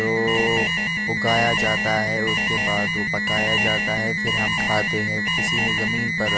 तो उगाया जाता है उसके बाद वो पकाया जाता है फिर हम खाते हैं किसी ने जमीन पर--